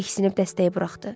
Diksiniib dəstəyi buraxdı.